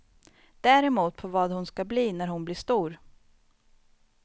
Däremot på vad hon ska bli när hon blir stor.